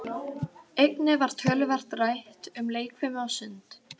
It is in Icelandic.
Einnig var töluvert rætt um leikfimi og sund.